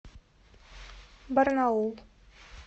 барнаул